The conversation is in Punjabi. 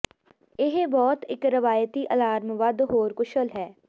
ਇਹ ਬਹੁਤ ਇੱਕ ਰਵਾਇਤੀ ਅਲਾਰਮ ਵੱਧ ਹੋਰ ਕੁਸ਼ਲ ਹੈ